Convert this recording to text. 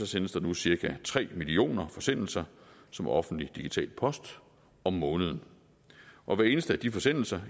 sendes der nu cirka tre millioner forsendelser som offentlig digital post om måneden og hver eneste af de forsendelser